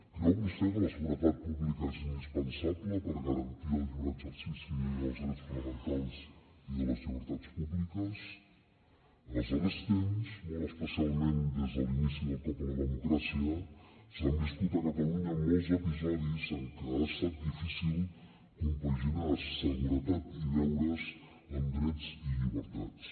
creu vostè que la seguretat pública és indispensable per garantir el lliure exercici dels dels drets fonamentals i de les llibertats públiques en els darrers temps molt especialment des de l’inici del cop a la democràcia s’han viscut a catalunya molts episodis en què ha estat difícil compaginar seguretat i deures amb drets i llibertats